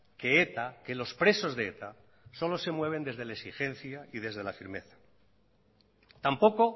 que eta que los presos de eta solo se mueven desde la exigencia y desde la firmeza tampoco